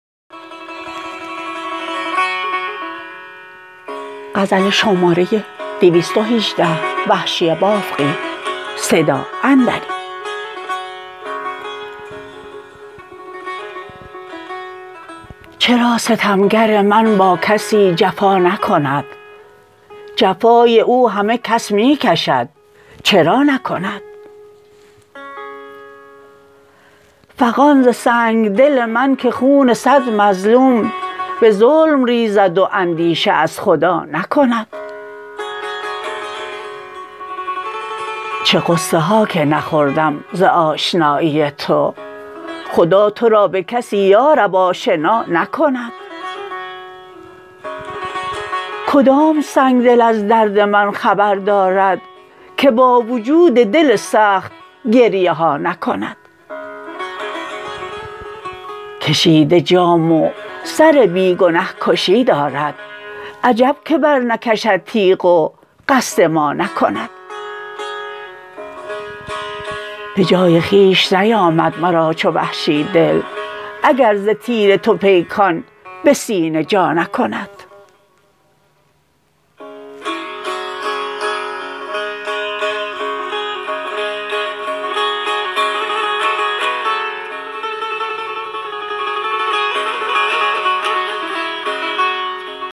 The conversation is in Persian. چرا ستمگر من با کسی جفا نکند جفای او همه کس می کشد چرا نکند فغان ز سنگدل من که خون سد مظلوم به ظلم ریزد و اندیشه از خدا نکند چه غصه ها که نخوردم ز آشنایی تو خدا ترا به کسی یارب آشنا نکند کدام سنگدل از درد من خبر دارد که با وجود دل سخت گریه ها نکند کشیده جام و سر بی گنه کشی دارد عجب که بر نکشد تیغ و قصد ما نکند به جای خویش نیامد مرا چو وحشی دل اگر ز تیر تو پیکان به سینه جا نکند